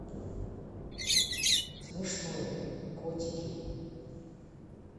смешное котики